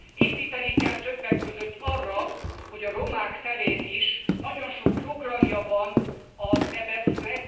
Építeni kell többek között arra, hogy a romák terén is nagyon sok programja van az EBESZ nek.